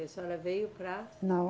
A senhora veio para. Não.